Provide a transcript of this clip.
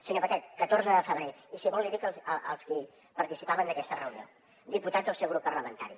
senyor batet catorze de febrer i si vol li dic els qui participaven d’aquesta reunió diputats del seu grup parlamentari